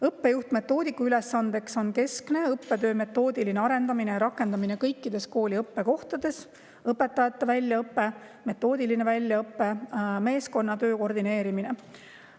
Õppejuht-metoodiku ülesandeks on keskne õppetöö metoodiline arendamine ja rakendamine kooli kõikides õppekohtades, õpetajate väljaõpe, metoodiline väljaõpe ja meeskonnatöö koordineerimine.